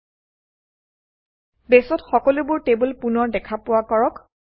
২ বেছত সকলোবোৰ টেবুল পুনৰ দেখা পোৱা কৰক